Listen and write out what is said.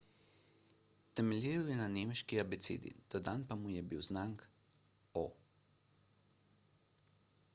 temeljil je na nemški abecedi dodan pa mu je bil znak õ/õ